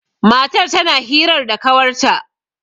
matar tana hirar da kawarta